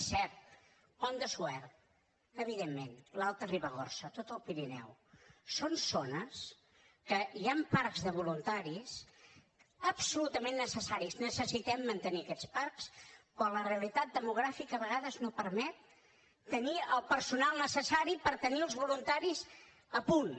és cert pont de suert evidentment l’alta ribagorça tot el pirineu són zones que hi han parcs de voluntaris absolutament necessaris necessitem mantenir aquests parcs però la realitat demogràfica a vegades no permet tenir el personal necessari per tenir els voluntaris a punt